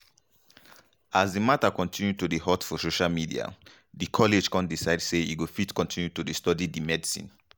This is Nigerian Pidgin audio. as di mata continue to dey hot for social media di college kon decide say e go fit continue to study di medicine